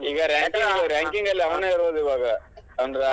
ಈಗ ranking ಅಲ್ಲಿ ಅವನೇ ಇರೋದ್ ಇವಾಗ ಅಂದ್ರ್,